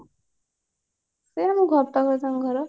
ସେ ଆମ ଘର ପାଖରେ ତାଙ୍କ ଘର